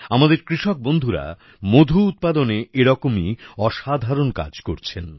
আমাদের কৃষক বন্ধুরা মধু উৎপাদনে এরকমই অসাধারণ কাজ করছেন